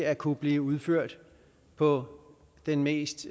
at kunne blive udført på den mest